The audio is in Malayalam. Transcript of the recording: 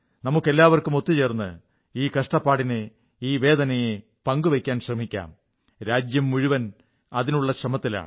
നമുക്കെല്ലാവർക്കും ഒത്തു ചേർന്ന് ഈ കഷ്ടപ്പാടിനെ ഈ വേദനയെ പങ്കുവയ്ക്കാൻ ശ്രമിക്കാം രാജ്യംമുഴുവൻ അതിനുള്ള ശ്രമത്തിലാണ്